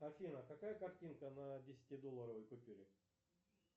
афина какая картинка на десятидолларовой купюре